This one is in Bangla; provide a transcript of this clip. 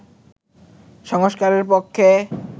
সংস্কারের পক্ষে